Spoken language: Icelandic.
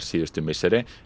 síðustu misseri